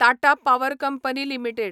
Tata power company limited